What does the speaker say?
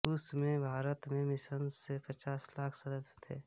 उस में भारत में मिशन से पचास लाख सदस्य थे